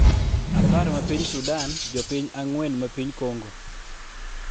apar ma piny Sudan, jopiny ang'wen ma piny Kongo